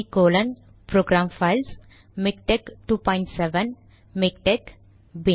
C colon program files MiKTeX 27 MiKTeX